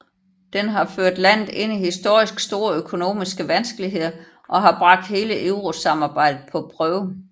Det har ført landet ind i historisk store økonomiske vanskeligheder og har bragt hele eurosamarbejdet på prøve